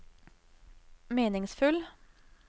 meningsfull